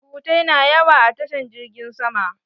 surutai na yawa a tashan jirgin sama